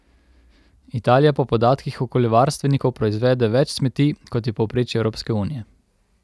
Italija po podatkih okoljevarstvenikov proizvede več smeti, kot je povprečje Evropske unije.